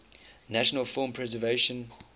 national film preservation